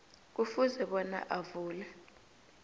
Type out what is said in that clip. kufuze bona avule